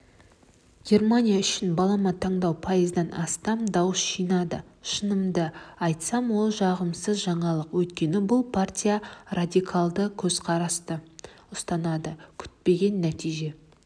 германия үшін балама таңдау пайыздан астам дауыс жинады шынымды айтсам ол жағымсыз жаңалық өйткені бұл партия радикалдық көзқарасты ұстанады күтпеген нәтиже